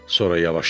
Sonra yavaşladı.